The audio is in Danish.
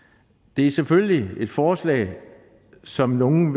det er selvfølgelig et forslag som nogle